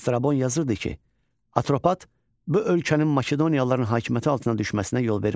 Strabon yazırdı ki, Atropat bu ölkənin Makedoniyalıların hakimiyyəti altına düşməsinə yol vermədi.